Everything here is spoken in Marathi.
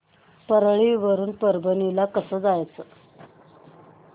परळी वरून परभणी ला कसं जायचं